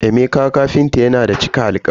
Emeka kafinta yana da cika alkawari.